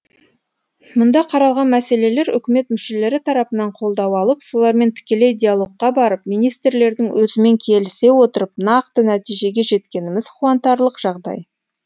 мұнда қаралған мәселелер үкімет мүшелері тарапынан қолдау алып солармен тікелей диалогқа барып министрлердің өзімен келісе отырып нақты нәтижеге жеткеніміз қуантарлық жағдай